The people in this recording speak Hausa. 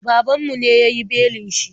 Babanmu ne ya yi belin shi.